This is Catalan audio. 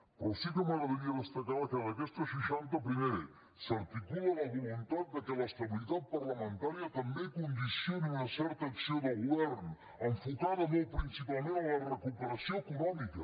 però sí que m’agradaria destacar que en aquestes seixanta primer s’articula la voluntat que l’estabilitat parlamentària també condicioni una certa acció de govern enfocada molt principalment a la recuperació econòmica